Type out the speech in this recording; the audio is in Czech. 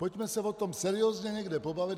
Pojďme se o tom seriózně někde pobavit.